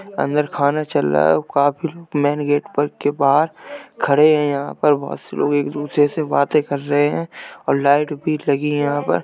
अंदर खाना चल रहा और काफी लोग मेन गेट पर के बाहर खड़े हैं। यहाँ पर बोहोत से लोग एक दूसरे से बातें कर रहे हैं और लाइट भी लगी हैं यहाँ पर।